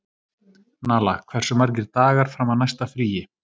Nala, hversu margir dagar fram að næsta fríi?